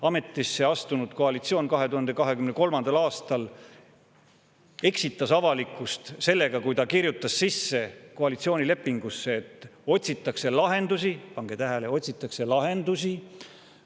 Ametisse astunud koalitsioon eksitas 2023. aastal avalikkust, kirjutades koalitsioonilepingusse, et otsitakse lahendusi – pange tähele: otsitakse lahendusi!